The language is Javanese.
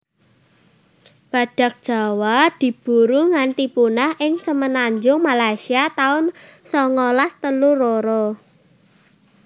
Badhak Jawa diburu nganti punah ing semenanjung Malaysia taun songolas telu loro